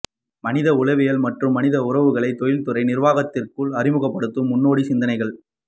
மனித உளவியல் மற்றும் மனித உறவுகளை தொழில்துறை நிர்வாகத்திற்குள் அறிமுகப்படுத்தும் முன்னோடி சிந்தனைகள்